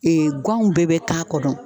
ganw bɛɛ bɛ ka kɔnɔ.